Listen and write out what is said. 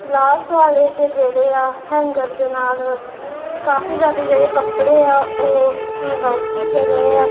Last ਵਾਲੇ ਚ ਜੇਹੜੇਆ ਹੈਂਗਰ ਦੇ ਨਾਲ ਕਾਫੀ ਜਿਆਦਾ ਜੇਹੜੇ ਕੱਪੜੇ ਆ ਓਹ ਹੈਂਗ ਆਊਟ ਕੀਤੇ ਗਏਆ।